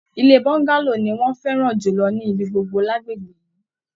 Ilé bọ́ngálò ní wọn fẹràn jùlọ ní ibigbogbo l'agbègbè yìí.